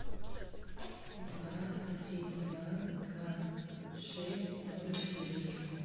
два один два два шесть ноль девять